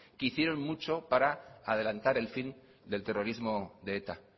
que hicieron mucho para adelantar el fin del terrorismo de eta